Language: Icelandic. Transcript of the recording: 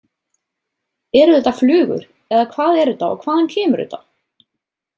Eru þetta flugur eða hvað er þetta og hvaðan kemur þetta?